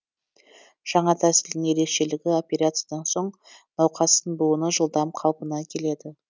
жаңа тәсілдің ерекшелігі операциядан соң науқастың буыны жылдам қалпына келеді